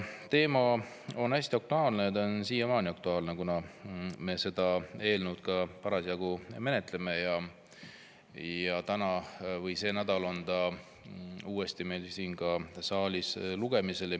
Teema on hästi aktuaalne, see on siiamaani aktuaalne, kuna me seda eelnõu parasjagu menetleme ja sel nädalal on see uuesti meil siin saalis lugemisel.